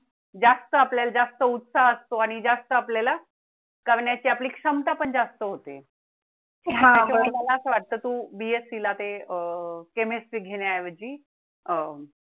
जास्त आपल्या ला जास्त उत्साह असतो आणि जास्त आपल्या ला जगण्याची आपली क्षमता पण जास्त होते हा मला असं वाटत तू BSC ला ते अह chemistry घेण्या ऐवजी अह